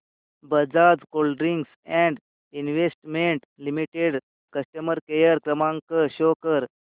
Bajaj holdings and investment limited customer care क्रमांक show कर